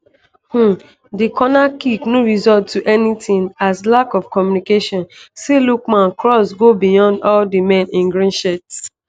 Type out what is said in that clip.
um di cornerkick no result to anytin as lack of communication see lookman cross go beyond all di men in green shirts.